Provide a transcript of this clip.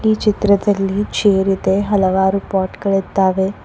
ಈ ಚಿತ್ರದಲ್ಲಿ ಚೇರ್ ಇದೆ ಹಲವಾರು ಪಾಟ್ ಗಳಿದ್ದಾವೆ.